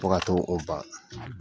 Tɔgɔ ye ko ba.